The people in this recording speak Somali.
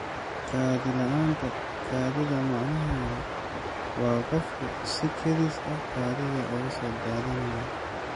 Kaadi-la'aanta kaadida macnaheedu waa qofku si kedis ah ayuu kaadida uga soo daadanayaa.